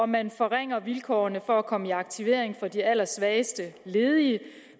man forringer vilkårene for at komme i aktivering for de allersvageste ledige